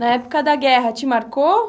Na época da guerra, te marcou?